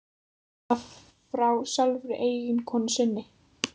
Og það frá sjálfri eiginkonu sinni.